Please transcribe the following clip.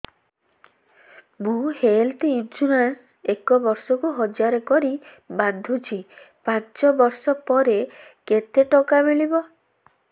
ମୁ health insurance ଏକ ବର୍ଷକୁ ହଜାର କରି ବାନ୍ଧୁଛି ପାଞ୍ଚ ବର୍ଷ ପରେ କେତେ ଟଙ୍କା ମିଳିବ